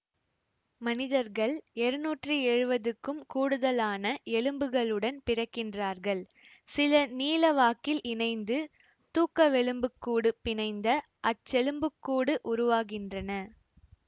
மனிதர்கள் இருநூற்றி எழுவதுக்கும் கூடுதலான எலும்புகளுடன் பிறக்கின்றார்கள் சில நீளவாக்கில் இணைந்து தூக்கவெலும்புக்கூடு பிணைந்த அச்செலும்புக்கூடு உருவாகின்றன